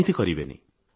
ଏମିତି କରିବେନି